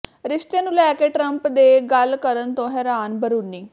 ਰਿਸ਼ਤੇ ਨੂੰ ਲੈ ਕੇ ਟਰੰਪ ਦੇ ਗੱਲ ਕਰਨ ਤੋਂ ਹੈਰਾਨ ਬਰੂਨੀ